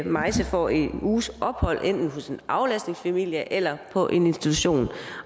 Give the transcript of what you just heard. maise får en uges ophold enten hos en aflastningsfamilie eller på en institution